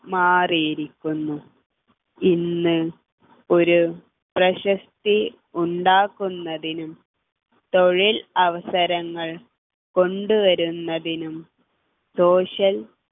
മാറിയിരിക്കുന്നു ഇന്ന് ഒരു പ്രശസ്തി ഉണ്ടാക്കുന്നതിനും തൊഴിൽ അവസരങ്ങൾ കൊണ്ടുവരുന്നതിനും social